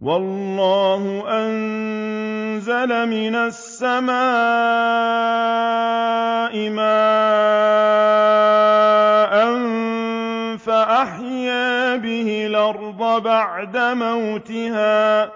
وَاللَّهُ أَنزَلَ مِنَ السَّمَاءِ مَاءً فَأَحْيَا بِهِ الْأَرْضَ بَعْدَ مَوْتِهَا ۚ